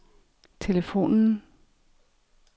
telefonen